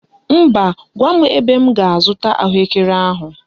Mba, gwa m ebe m ga--azụta ahụekere ahụ.